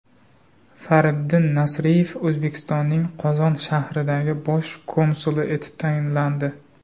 Fariddin Nasriyev O‘zbekistonning Qozon shahridagi bosh konsuli etib tayinlandi.